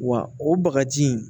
Wa o bagaji